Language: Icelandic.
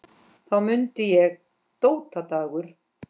Þá mundi ég: Dóta Dagur.